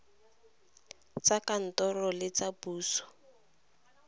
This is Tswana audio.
tsa kantoro le tsa poso